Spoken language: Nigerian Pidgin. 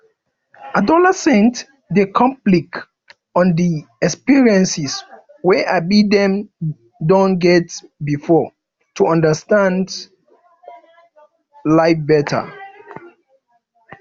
adolescents dey reflect on di experiences wey um dem don get before to understand um life better